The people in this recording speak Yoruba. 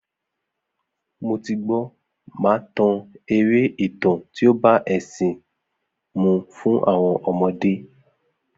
Mo ti gbó, màá tan eré ìtàn tí ó bá ẹ̀ṣìn mu fún àwọn ọmọde